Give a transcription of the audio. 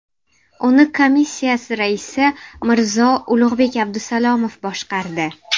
Uni komissiyasi raisi Mirzo-Ulug‘bek Abdusalomov boshqardi .